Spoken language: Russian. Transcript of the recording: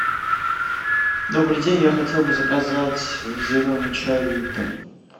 добрый день я хотел бы заказать зеленый чай липтон